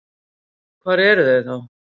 Og hver eru þau þá?